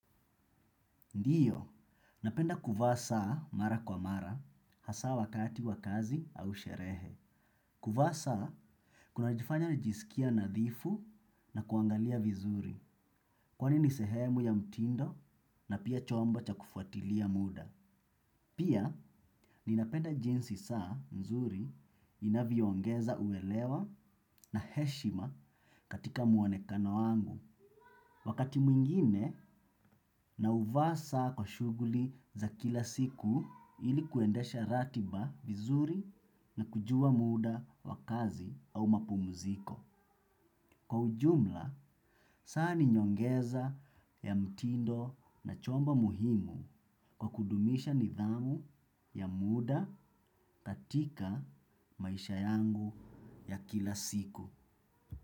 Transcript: Ndiyo, napenda kuvaa saa mara kwa mara hasa wakati wakazi au sherehe. Kuvaa saa, kuna jifanya nijisikia nadhifu na kuangalia vizuri. Kwani ni sehemu ya mtindo na pia chombo cha kufuatilia muda. Pia, ninapenda jinsi saa nzuri inavyoongeza uelewa na heshima katika muonekano wangu. Wakati mwingine na huvaa saa kwa shuguli za kila siku ilikuendesha ratiba vizuri na kujua muda wakazi au mapumuziko. Kwa ujumla, saa ninyongeza ya mtindo na chombo muhimu kwa kudumisha nidhamu ya muda katika maisha yangu ya kila siku.